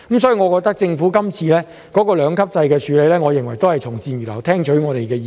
所以，政府提出今次這個兩級制的建議，我認為是政府從善如流，有聽取我們的意見。